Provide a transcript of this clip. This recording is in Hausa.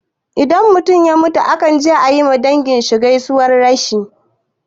Idan mutum ya mutu akan je ayi ma dangi gaisuwan rashi